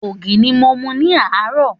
Ògì ni mo mu ní àárò.